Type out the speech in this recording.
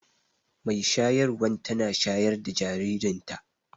mai shayarwan tana shayar da jaririnta